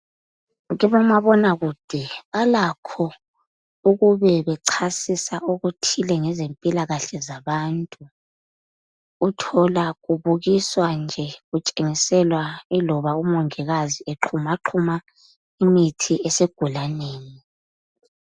Kibomabonakude balakho ukube bechasisa okuthile ngezempilakahle zabantu. Uthola ubukiswa nje kutshengiselwa yiloba ngumongikazi exhumaxhuma imithi esigulaneni.